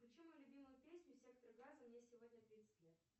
включи мою любимую песню сектор газа мне сегодня тридцать лет